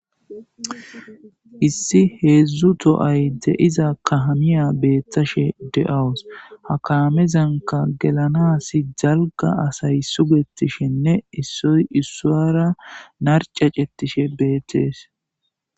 issi heedzdzu to7ay de7iza kahamiya beeththashe de7awus ha kaamezanka gelanas jalga asay sugettishenne issoy issuwara narcacettishe beettees